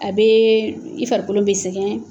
A bɛ i farikolo bɛ sɛgɛn.